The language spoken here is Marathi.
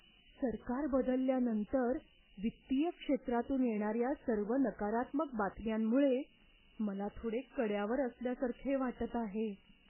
सरकार बदलल्यानंतर वित्तीय क्षेत्रातून येणाऱ्या सर्व नकारात्मक बातम्यांमुळे मला थोडे कड्यावर असल्यासारखे वाटत आहे.